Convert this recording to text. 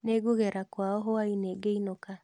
Ningũgera kwao hwai-inĩ ngĩinũka